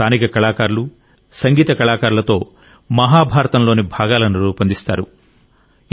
అక్కడ స్థానిక కళాకారులు సంగీతకారులతో మహాభారతంలోని భాగాలను రూపొందిస్తారు